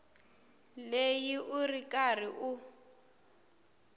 leyi u ri karhi u